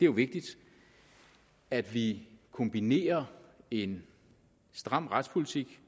vigtigt at vi kombinerer en stram retspolitik